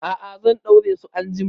A'a, zan ɗaure su anjima.